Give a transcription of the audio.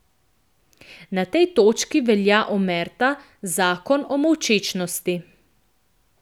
Na tej točki velja omerta, zakon molčečnosti.